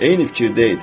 Eyni fikirdə idik.